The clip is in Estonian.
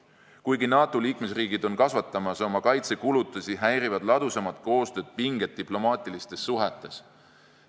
Kuigi NATO liikmesriigid on kasvatamas oma kaitsekulutusi, häirivad ladusamat koostööd pinged diplomaatilistes suhetes.